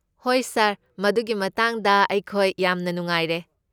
ꯍꯣꯏ ꯁꯥꯔ, ꯃꯗꯨꯒꯤ ꯃꯇꯥꯡꯗ ꯑꯩꯈꯣꯏ ꯌꯥꯝꯅ ꯅꯨꯡꯉꯥꯏꯔꯦ꯫